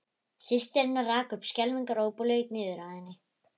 Systir hennar rak upp skelfingaróp og laut niður að henni.